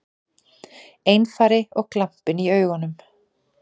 Einari og glampinn í augunum.